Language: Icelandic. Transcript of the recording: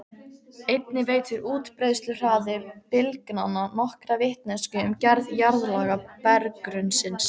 Einnig veitir útbreiðsluhraði bylgnanna nokkra vitneskju um gerð jarðlaga berggrunnsins.